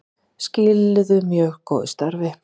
Skiluðu mjög góðu starfi